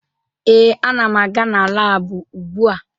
Ee, ana m aga na laabụ ugbua